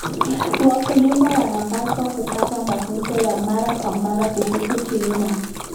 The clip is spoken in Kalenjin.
Wakulima wanapaswa kupata mafunzo ya mara kwa mara kuhusu kilimo.